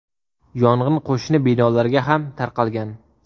Yong‘in qo‘shni binolarga ham tarqalgan.